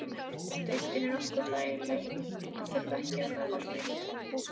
Deildin er nokkuð þægileg að þurfa ekki að ferðast neitt?